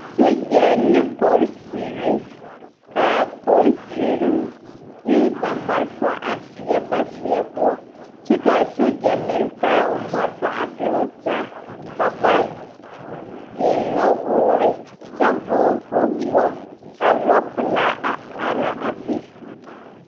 Sogyɛ ne polisiri k,a polisiri de ba malfa a seɛ ba seɛ poɔ kyɛ k,a sogyɛ meŋ taa o malfa are pɛgle taa ka ba eŋ nɔwoore kyɛ vɔgle kpawoɔ ka lɔɔpelaa a are a be.